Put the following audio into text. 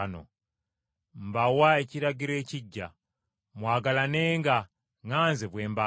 “Mbawa ekiragiro ekiggya: Mwagalanenga nga nze bwe mbaagala.